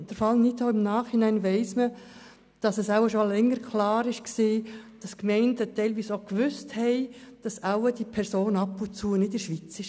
Dort weiss man im Nachhinein, dass die Gemeinde teilweise schon seit längerer Zeit wusste, dass diese Person wohl ab und zu nicht in der Schweiz war.